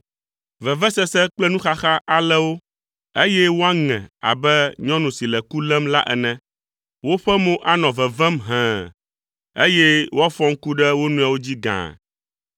Vevesese kple nuxaxa alé wo, eye woaŋe abe nyɔnu si le ku lém la ene. Woƒe mo anɔ vevem hẽe, eye woafɔ ŋku ɖe wo nɔewo dzi gaa.